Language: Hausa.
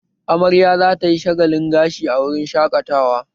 Amarya za ta yi shagalin gashi a wurin shaƙatawa